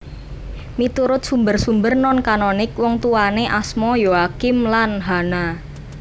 Miturut sumber sumber non kanonik wongtuwané asma Yoakim lan Hana